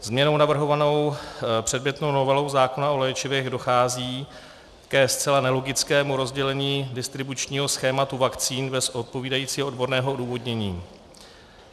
Změnou navrhovanou předmětnou novelou zákona o léčivech dochází ke zcela nelogickému rozdělení distribučního schématu vakcín bez odpovídajícího odborného odůvodnění.